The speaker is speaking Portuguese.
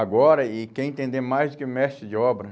Agora, e quer entender mais do que mestre de obra,